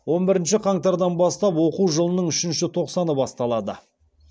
он бірінші қаңтардан бастап оқу жылының үшінші тоқсаны басталады